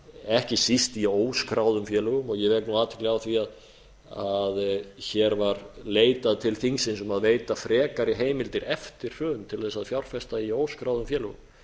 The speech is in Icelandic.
ekki síst í óskráðum félögum ég vek athygli á því að hér var leitað til þingsins um að veita frekari heimildir eftir hrun til þess að fjárfesta í óskráðum félögum